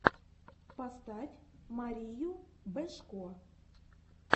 поставь марию бежко